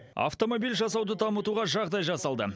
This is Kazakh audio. автомобиль жасауды дамытуға жағдай жасалды